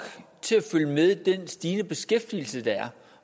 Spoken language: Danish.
til at følge med den stigende beskæftigelse der er